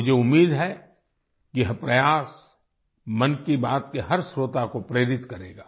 मुझे उम्मीद है कि यह प्रयास मन की बात के हर श्रोता को प्रेरित करेगा